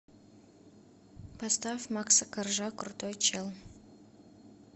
поставь макса коржа крутой чел